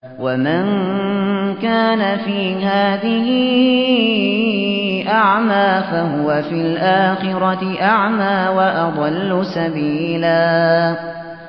وَمَن كَانَ فِي هَٰذِهِ أَعْمَىٰ فَهُوَ فِي الْآخِرَةِ أَعْمَىٰ وَأَضَلُّ سَبِيلًا